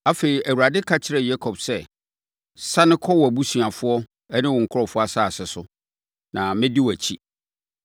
Afei, Awurade ka kyerɛɛ Yakob sɛ, “Sane kɔ wʼabusuafoɔ ne wo nkurɔfoɔ asase so, na mɛdi wʼakyi.”